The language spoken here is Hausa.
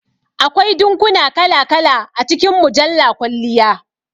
Akwai dinkuna kala kala a cikin mujjala kwalliya